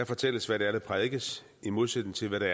fortælles hvad der prædikes i modsætning til hvad